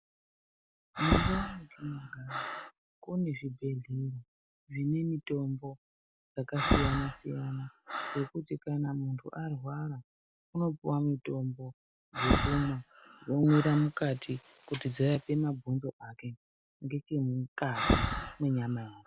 Mundau mwatinogara kune zvibhedhleya zvine mitombo dzakasiyana siyana dzekuti kana muntu arwara unopuwe mutombo dzekumwa omwira mukati kuti dzirape mabhonzo ake ngechemukati mwenyama yake.